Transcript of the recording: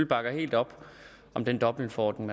bakker helt op om den dobbeltforordning